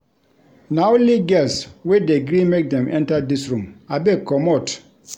Na only girls we dey gree make dem enta dis room, abeg comot.